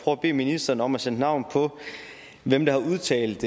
at bede ministeren om at sætte navn på hvem der har udtalt